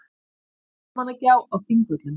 Almannagjá á Þingvöllum.